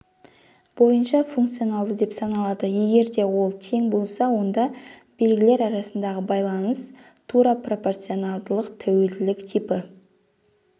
бойынша функционалды деп саналады егерде олтең болса онда белгілер арасындағы байланыс тура пропорционалдылық тәуелділік типі